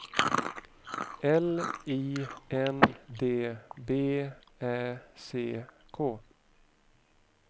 L I N D B Ä C K